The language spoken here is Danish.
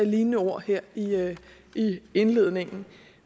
lignende ord her i indledningen